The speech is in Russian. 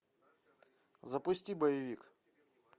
запусти боевик